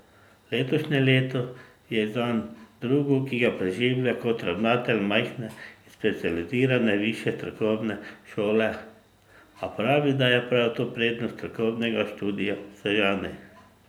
Letošnje leto je zanj drugo, ki ga preživlja kot ravnatelj majhne in specializirane višje strokovne šole, a pravi, da je prav to prednost strokovnega študija v Sežani.